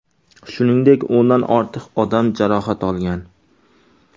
Shuningdek, o‘ndan ortiq odam jarohat olgan.